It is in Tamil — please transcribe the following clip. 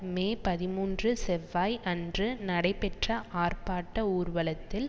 மே பதிமூன்று செவ்வாய் அன்று நடைபெற்ற ஆர்ப்பாட்ட ஊர்வலத்தில்